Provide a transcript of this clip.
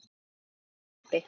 Þú varst uppi.